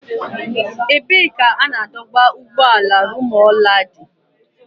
Ebee ka ebe a na-adọba ụgbọala Rumuola dị?